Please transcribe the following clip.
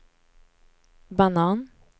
banan